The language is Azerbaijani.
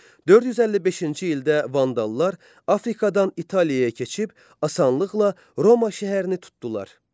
455-ci ildə vandallar Afrikadan İtaliyaya keçib asanlıqla Roma şəhərini tutdular.